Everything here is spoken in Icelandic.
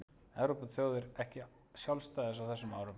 Í þriðja lagi nutu margar Evrópuþjóðir ekki sjálfstæðis á þessum árum.